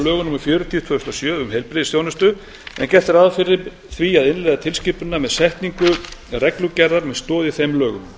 lögum númer fjörutíu tvö þúsund og sjö um heilbrigðisþjónustu en gert er ráð fyrir því að innleiða tilskipunina með setningu reglugerðar með stoð í þeim lögum